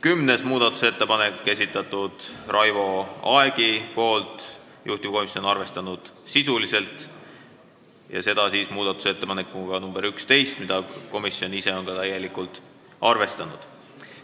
Kümnenda muudatusettepaneku on esitanud Raivo Aeg, juhtivkomisjon on arvestanud sisuliselt muudatusettepanekuga nr 11, mida komisjon on täielikult arvestanud.